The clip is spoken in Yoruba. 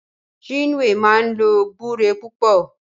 Chinwe máa ń lo gbúre púpọ̀